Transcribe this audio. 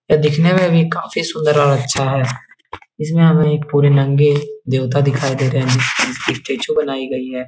यह दिखने में भी सुंदर और अच्छा है। इसमे हमें पूरे नंगे देवता दिखाई दे रहे हैं। एक स्टैचू बनाई गई है।